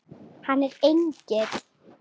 Hann er engill.